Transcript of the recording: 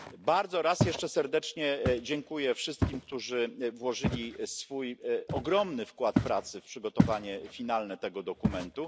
Bardzo raz jeszcze serdecznie dziękuję wszystkim, którzy włożyli swój ogromny wkład pracy w przygotowanie finalne tego dokumentu.